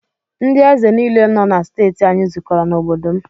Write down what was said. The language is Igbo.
Ndị ézè nile nọ na steeti anyị zụkọrọ na obodo m.